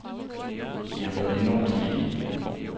I har været enormt flittige.